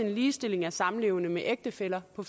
en ligestilling af samlevende med ægtefæller og